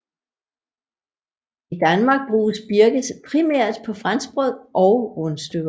I Danmark bruges birkes primært på franskbrød og rundstykker